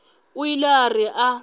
o ile a re a